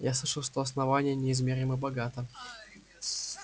я слышал что основание неизмеримо богато